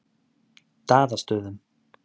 Daðastöðum